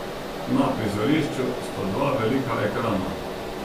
Na prizorišču sta dva velika ekrana ...